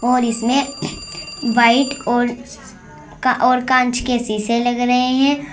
और इसमें वाइट और और कांच के शीशे लग रहे हैं।